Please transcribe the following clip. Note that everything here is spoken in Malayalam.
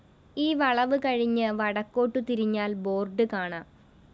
ഈ വളവ് കഴിഞ്ഞ് വടക്കോട്ടു തിരിഞ്ഞാല്‍ ബോർഡ്‌ കാണാം